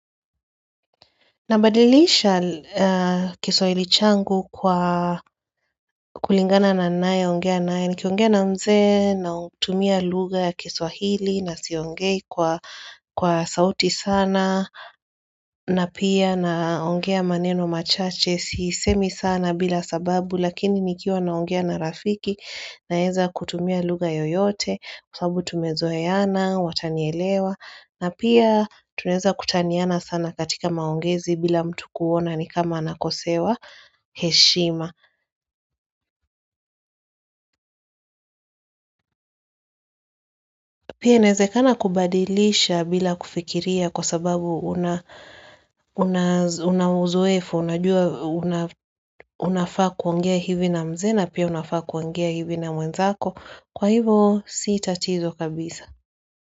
Nabadilisha kiswahili changu kwa kulingana na nae, ongea nae, ni kiongea na mze na tumia luga ya kiswahili na siongei kwa sauti sana na pia na ongea maneno machache, sisemi sana bila sababu, lakini nikiwa na ongea na rafiki naheza kutumia luga yoyote Kwa sababu tumezoeyana, watanielewa na pia tunaeza kutanyana sana katika maongezi bila mtu kuona ni kama anakosewa heshima Pia naezekana kubadilisha bila kufikiria kwa sababu unaozoefu Unafaa kuongea hivi na mzee pia unafaa kuongea hivi na mwenzako Kwa hivo si tatizo kabisa.